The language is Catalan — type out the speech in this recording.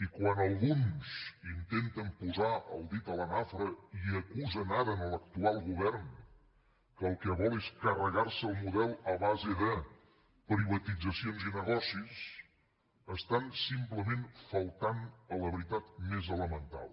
i quan alguns intenten posar el dit a la nafra i acusen ara l’actual govern que el que vol és carregar se el model a base de privatitzacions i negocis estan simplement faltant a la veritat més elemental